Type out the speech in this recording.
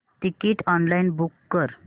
ticket online book कर